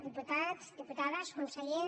diputats diputades conseller